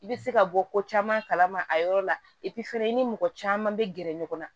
I bɛ se ka bɔ ko caman kalama a yɔrɔ la fana i ni mɔgɔ caman bɛ gɛrɛ ɲɔgɔn na